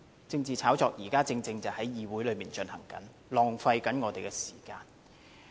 政治炒作現正在議會內進行，浪費我們的時間。